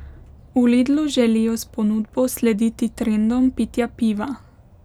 V Lidlu želijo s ponudbo slediti trendom pitja piva.